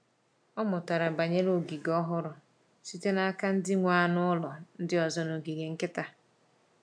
Ọ mụtara banyere ogige ọhụrụ site n’aka ndị nwe anụ ụlọ ndị ọzọ n’ogige nkịta.